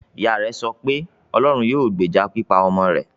Ìyá rẹ̀ sọ pé; "Ọlọ́run yóò gbèjà pípa ọmọ rẹ̀".